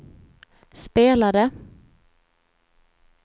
spelade